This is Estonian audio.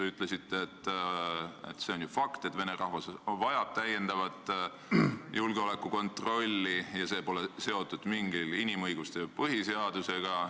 Ütlesite, et see on ju fakt, et vene rahvus vajab täiendavat julgeolekukontrolli ja et see pole seotud inimõiguste või põhiseadusega.